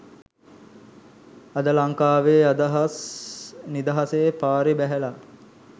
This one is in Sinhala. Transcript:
අද ලන්කාවෙ නිදහසේ පාරෙ බැහැල